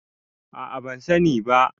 a a ban sani ba